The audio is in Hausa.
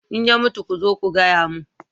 in ya mutu ku zo ku gaya min